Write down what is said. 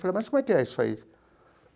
Falei, mas como é que é isso aí?